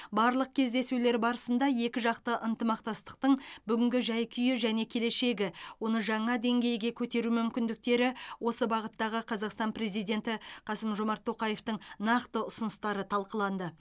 барлық кездесулер барысында екіжақты ынтымақмастықтың бүгінгі жай күйі және келешегі оны жаңа деңгейге көтеру мүмкіндіктері осы бағыттағы қазақстан президенті қасым жомарт тоқаевтың нақты ұсыныстары талқыланды